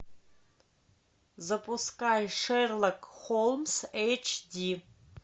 запускай шерлок холмс эйч ди